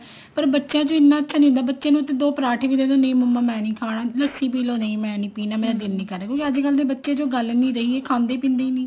ਪਰ ਬੱਚੇ ਨੂੰ ਨੀ ਇੰਨਾ ਜਿਆਦਾ ਅੱਛਾ ਬੱਚੇ ਨੂੰ ਤਾਂ ਦੋ ਪਰਾਂਠੇ ਵੀ ਦੇਦੋ ਨਹੀਂ ਮੰਮਾ ਮੈਂ ਨੀ ਖਾਣਾ ਲੱਸੀ ਪੀਲੋ ਮੈਂ ਨੀ ਪੀਣਾ ਮੇਰਾ ਦਿਲ ਨੀ ਕਰ ਰਿਹਾ ਕਿਉਂਕਿ ਅੱਜਕਲ ਦੇ ਬੱਚਿਆਂ ਚ ਉਹ ਗੱਲ ਨੀ ਰਹੀ ਕਿਉਂਕਿ ਇਹ ਖਾਂਦੇ ਪੀਂਦੇ ਨੀ